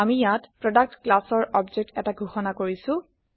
আমি ইয়াত প্ৰডাক্ট classৰ অবজেক্ট এটা ঘোষণা কৰিছো